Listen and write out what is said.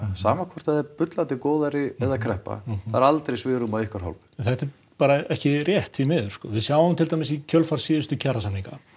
sama hvort það er bullandi góðæri eða kreppa það er aldrei svigrúm af ykkar hálfu þetta er bara ekki rétt því miður við sjáum til dæmis í kjölfar síðustu kjarasamninga